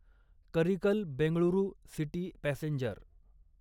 Karikal Bengaluru city passenger